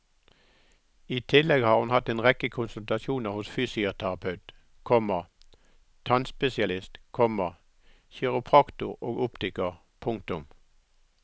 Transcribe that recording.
I tillegg har hun hatt en rekke konsultasjoner hos fysioterapeut, komma tannspesialist, komma kiropraktor og optiker. punktum